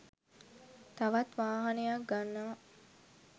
තවත් වාහනයක් ගන්නව